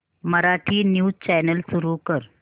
Marathi news channel सुरू कर